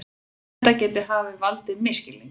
Þetta geti hafa valdið misskilningi